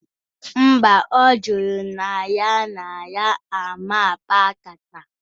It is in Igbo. Mba, ọ jụrụ na ya na ya aman kpaa nkata